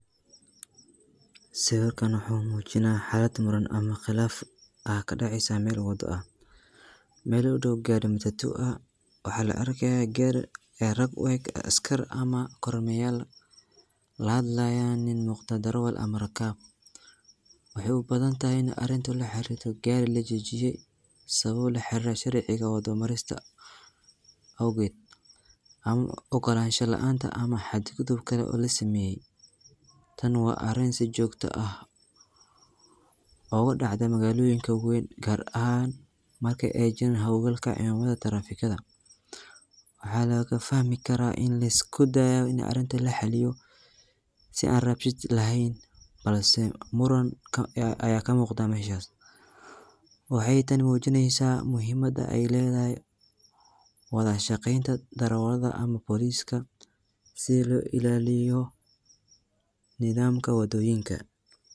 Sawirkan wuxu mujinaya xalad muran ama qilaf, aa kadaceysa mel wado ah, mel u doow gari matatu waxa laarkaya gari iyo rag ueg askar ama kormelayal laxadlayan nin umugda darawal camal ama rakaab, wuxu ubadantaxay in arinka laxarirto gari lajojiye , sawabo laxariro sharciga wada marista, ama ogolansha laanta ama xad gudubka oo lasameye, taani wa arin si jogto ah, ogudacdo magaloyinka wen gaar ahan markay ay jiran xowgaal cidamada traffic waxa logufaxmi kara ini liskudayo in arinka muda laxaliyo si an rabshad lexen, balse muranka aya kamugda meshas, waxay taani mujinaysa muxiimada aya ledaxay wadashagenta darawalad ama police si loilaliyo nidamka wadoyinka.